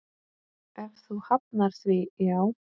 Ef þú hafnar því, já.